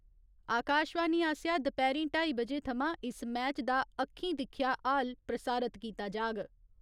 आकावाशणी आसेआ दपैह्‌रीं ढाई बजे थमां इस मैच दा अक्खीं दिक्खेआ हाल प्रसारत कीता जाह्ग।